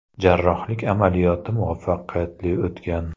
Jarrohlik amaliyoti muvaffaqiyatli o‘tgan.